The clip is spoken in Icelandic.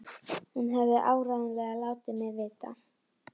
Hún hefði áreiðanlega látið mig vita.